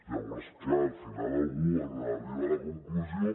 llavors clar al final algú arriba a la conclusió